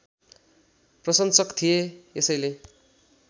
प्रशंसक थिए यसैले